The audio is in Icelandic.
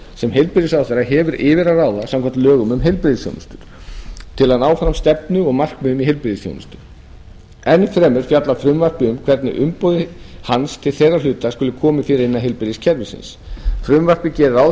sem heilbrigðisráðherra hefur yfir að ráða samkvæmt lögum um heilbrigðisþjónustu til að ná fram stefnu og markmiðum í heilbrigðisþjónustu enn fremur fjallar frumvarpið um hvernig umboði hans til þeirra hluta skuli fyrir komið innan heilbrigðiskerfisins frumvarpið gerir ráð